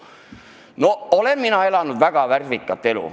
Mina olen elanud väga värvikat elu.